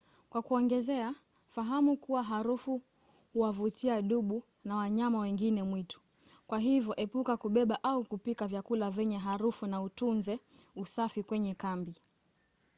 kwa kuongezea fahamu kuwa harufu huwavutia dubu na wanyama wengine mwitu kwa hivyo epuka kubeba au kupika vyakula vyenye harufu na utunze usafi kwenye kambi